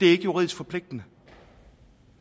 er juridisk forpligtende